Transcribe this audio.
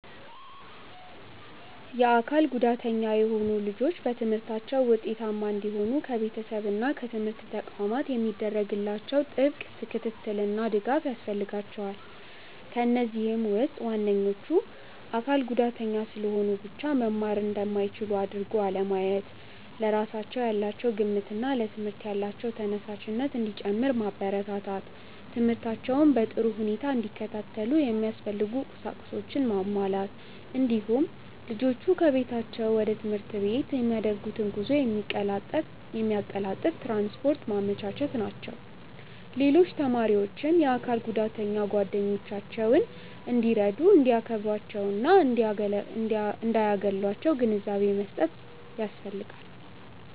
የአካል ጉዳተኛ የሆኑ ልጆች በትምህርታቸው ውጤታማ እንዲሆኑ ከቤተሰብ እና ከትምህርት ተቋማት የሚደረግላቸው ጥብቅ ክትትልና ድጋፍ ያስፈልጋቸዋል። ከነዚህም ውስጥ ዋነኞቹ:- አካል ጉዳተኛ ስለሆኑ ብቻ መማር እንደማይችሉ አድርጎ አለማየት፣ ለራሳቸው ያላቸው ግምትና ለትምህርት ያላቸው ተነሳሽነት እንዲጨምር ማበረታታት፣ ትምህርታቸውን በጥሩ ሁኔታ እንዲከታተሉ የሚያስፈልጉ ቁሳቁሶችን ማሟላት፣ እንዲሁም ልጆቹ ከቤታቸው ወደ ትምህርት ቤት የሚያደርጉትን ጉዞ የሚያቀላጥፍ ትራንስፖርት ማመቻቸት ናቸው። ሌሎች ተማሪዎችም የአካል ጉዳተኛ ጓደኞቻቸውን እንዲረዱ፣ እንዲያከብሯቸውና እንዳያገሏቸው ግንዛቤ መስጠት ያስፈልጋል።